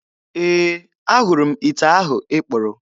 Ee, ahụrụ m ite ahụ ị kpụrụ.